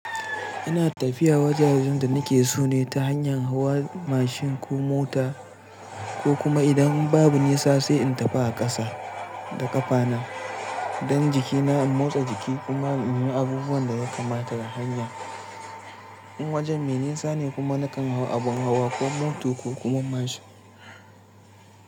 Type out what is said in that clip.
Ina tafiya wajajen da nake so ne ta hanyar hawa mashin ko mota, ko kuma idan babu nisa sai in tafi a ƙasa da ƙafa na. Don jikina in motsa jiki kuma in ga abubuwan da ya kamata ta hanya. In wajen me nisa ne kuma nakan hau abin hawa koh moto ko kuma mashin.